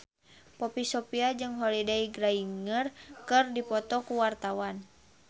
Poppy Sovia jeung Holliday Grainger keur dipoto ku wartawan